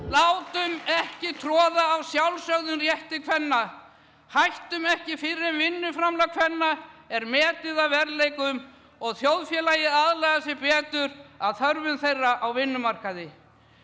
látum ekki troða á sjálfsögðum rétti kvenna hættum ekki fyrr en vinnuframlag kvenna er metið að verðleikum og þjóðfélagið aðlagar sig betur að þörfum þeirra á vinnumarkaði